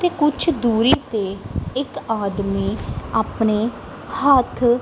ਤੇ ਕੁਝ ਦੂਰੀ ਤੇ ਇੱਕ ਆਦਮੀ ਆਪਣੇ ਹੱਥ--